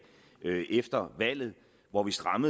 og